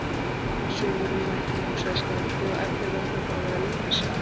Saumurinn mættur, hugsaði skáldið, og efnið verður þá bara að vera. lífið sjálft.